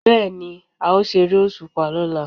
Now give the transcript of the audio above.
Bẹ́ẹ̀ ni, a ó ṣeré òṣùpá lọ́la